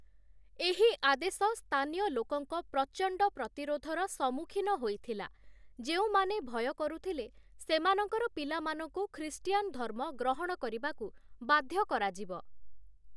ଏହି ଆଦେଶ ସ୍ଥାନୀୟ ଲୋକଙ୍କ ପ୍ରଚଣ୍ଡ ପ୍ରତିରୋଧର ସମ୍ମୁଖୀନ ହୋଇଥିଲା, ଯେଉଁମାନେ ଭୟ କରୁଥିଲେ ସେମାନଙ୍କର ପିଲାମାନଙ୍କୁ ଖ୍ରୀଷ୍ଟିଆନ ଧର୍ମ ଗ୍ରହଣ କରିବାକୁ ବାଧ୍ୟ କରାଯିବ ।